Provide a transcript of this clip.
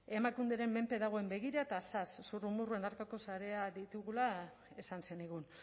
emakunderen menpe dagoen begira zas zurrumurruen aurkako sareak ditugula esan zenigun